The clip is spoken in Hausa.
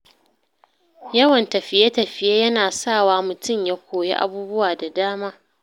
Yawan tafiye-tafiye yana sawa mutum ya koyi abubuwa da dama.